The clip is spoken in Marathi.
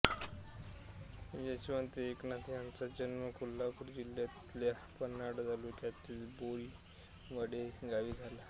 यशवंत एकनाथ यांचा जन्म कोल्हापूर जिल्ह्यातल्या पन्हाळा तालुक्यातील बोरिवडे गावी झाला